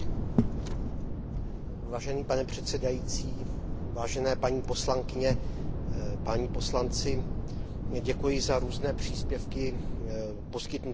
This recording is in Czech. Vážený pane předsedající, vážené paní poslankyně, páni poslanci, děkuji za různé příspěvky poskytnuté v průběhu této diskuze.